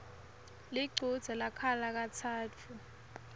lichudze lakhala katsatfu